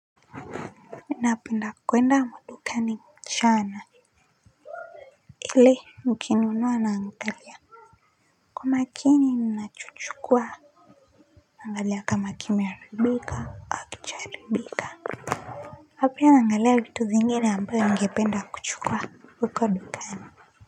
Mi napenda kuenda madukani mchana. Kile nikinunua naangalia. Kwa makini mi nachukua. Naangalia kama kimeharibika hakijaharibika. Na pia naangalia vitu zingine ambayo ningependa kuchukua huko dukani.